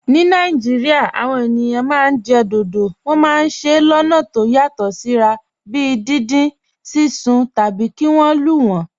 Ní Nàìjíríà, àwọn ènìyàn máa ń jẹ dodo. Wọ́n máa ń se wọ́n lọ́nà tó yàtọ̀ síra, bíi dindin, sísun, tàbí kí wọ́n lù wọ́n.